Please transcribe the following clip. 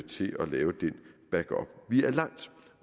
til at lave den backup vi er langt